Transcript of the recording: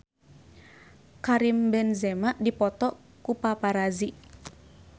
Karim Benzema dipoto ku paparazi